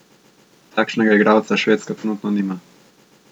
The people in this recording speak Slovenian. Takšnega igralca Švedska trenutno nima.